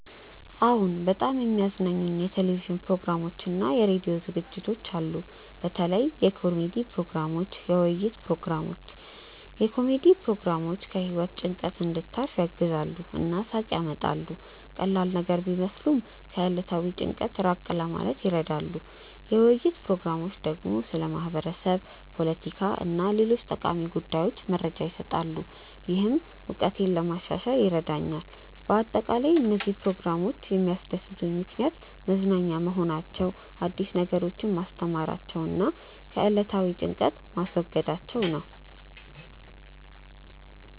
አዎን፣ በጣም የሚያዝናኑኝ የቴሌቪዥን ፕሮግራሞችና የራዲዮ ዝግጅቶች አሉ። በተለይ የኮሜዲ ፕሮግራሞች፣ የውይይት ፕሮግራሞች። የኮሜዲ ፕሮግራሞች ከህይወት ጭንቀት እንድታርፍ ያግዛሉ እና ሳቅ ያመጣሉ። ቀላል ነገር ቢመስሉም ከዕለታዊ ጭንቀት ራቅ ማለት ይረዳሉ። የውይይት ፕሮግራሞች ደግሞ ስለ ማህበረሰብ፣ ፖለቲካ እና ሌሎች ጠቃሚ ጉዳዮች መረጃ ይሰጣሉ፣ ይህም እውቀቴን ለማሻሻል ይረዳኛል በአጠቃላይ፣ እነዚህ ፕሮግራሞች የሚያስደስቱኝ ምክንያት መዝናኛ መሆናቸው፣ አዲስ ነገሮችን ማስተማራቸው እና ከዕለታዊ ጭንቀት ማስወገዳቸው ነው